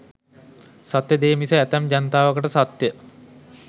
සත්‍ය දේ මිස ඇතැම් ජනතාවකට සත්‍ය